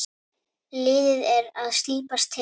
Liðið er að slípast til.